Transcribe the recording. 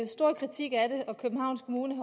stor kritik af det og københavns kommune